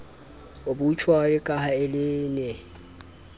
obitjhuari ka ha le ne